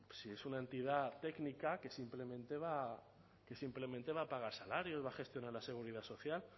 sí es una entidad técnica que simplemente va a pagar salarios va a gestionar la seguridad social